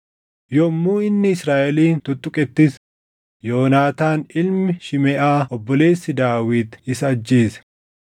Yommuu inni Israaʼelin tuttuqettis Yoonaataan ilmi Shimeʼaa obboleessi Daawit isa ajjeese.